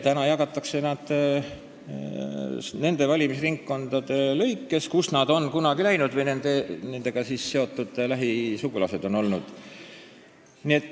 Täna jagatakse nad nendesse valimisringkondadesse, kust nad on kunagi ära läinud või kus nendega seotud lähikondsed on elanud.